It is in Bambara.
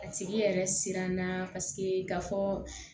A tigi yɛrɛ siranna paseke ka fɔ